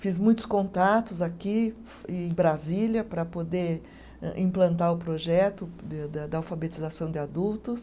Fiz muitos contatos aqui em Brasília para poder implantar o projeto de da da alfabetização de adultos.